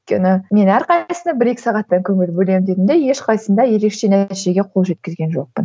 өйткені мен әрқайсысына бір екі сағаттай көңіл бөлемін дедім де ешқайсысын да ерекше нәтижеге қол жеткізген жоқпын